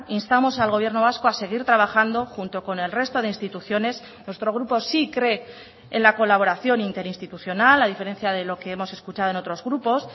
instamos al gobierno vasco a seguir trabajando junto con el resto de instituciones nuestro grupo sí cree en la colaboración interinstitucional a diferencia de lo que hemos escuchado en otros grupos